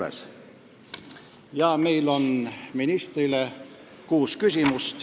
Esitame ministrile kuus küsimust.